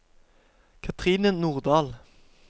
Katrine Nordahl